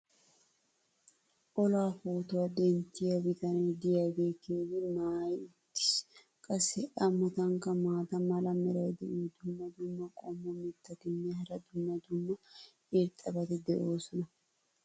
Olaa pootuwa denttiya bitanee diyaagee keehi maayi uttiis. qassi a matankka maata mala meray diyo dumma dumma qommo mitattinne hara dumma dumma irxxabati de'oosona.